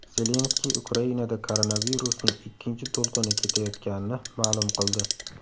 Zelenskiy Ukrainada koronavirusning ikkinchi to‘lqini ketayotganini ma’lum qildi.